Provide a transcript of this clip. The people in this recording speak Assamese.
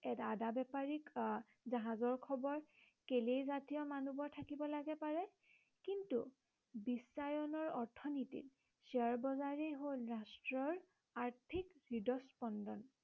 আদা বেপাৰীক আহ জাহাজৰ খবৰ কেলেই জাতিয় মনবৰ থাকিব লাগে পাৰে। কিন্তু বিশ্বায়নৰ অৰ্থনীতিত শ্বেয়াৰ বজাৰেই হল ৰাষ্ট্ৰৰ আৰ্থিক হৃদস্পন্দন